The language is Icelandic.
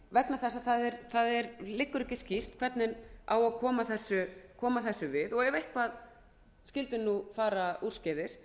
vegna þess að það liggur ekki skýrt hvernig eigi að koma þessu við og ef eitthvað skyldi fara úrskeiðis